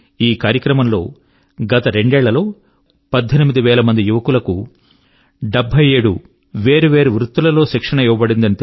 ఈ కార్యక్రమం లో గత రెండేళ్ళలో పద్దెనిమిది వేల యువకుల కు 77 సెవెంటీ సెవెన్ వేర్వేరు ట్రేడ్ లలో శిక్షణ ఇవ్వ బడింది